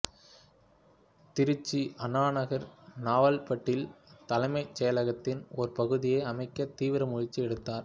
திருச்சி அண்ணாநகர் நவல்பட்டில் தலைமைச் செயலகத்தின் ஒரு பகுதியை அமைக்க தீவிர முயற்சி எடுத்தார்